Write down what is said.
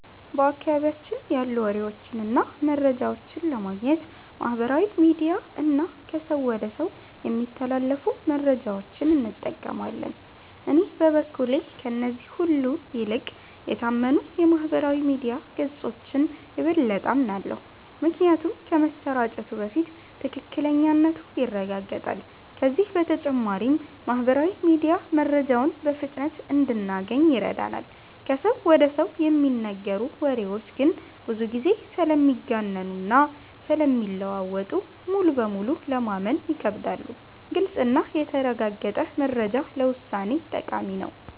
በአካባቢያችን ያሉ ወሬዎችን እና መረጃዎችን ለማግኘት ማህበራዊ ሚዲያ እና ከሰው ወደ ሰው የሚተላለፉ መረጃዎችን እንጠቀማለን። እኔ በበኩሌ ከእነዚህ ሁሉ ይልቅ የታመኑ የማህበራዊ ሚዲያ ገጾችን የበለጠ አምናለሁ። ምክንያቱም ከመሰራጨቱ በፊት ትክክለኛነቱ ይረጋገጣል፤ ከዚህ በተጨማሪም ማህበራዊ ሚዲያ መረጃውን በፍጥነት እንድናገኝ ይረዳናል። ከሰው ወደ ሰው የሚነገሩ ወሬዎች ግን ብዙ ጊዜ ስለሚጋነኑ እና ስለሚለዋወጡ ሙሉ በሙሉ ለማመን ይከብዳሉ። ግልጽ እና የተረጋገጠ መረጃ ለውሳኔ ጠቃሚ ነው።